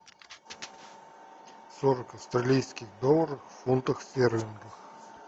сорок австралийских долларов в фунтах стерлингов